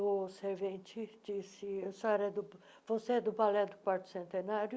O servente disse, a senhora é do você é do balé do Quarto Centenário?